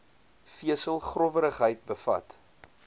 vesel growwerigheid bevat